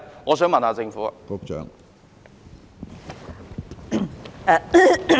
我想問問政府。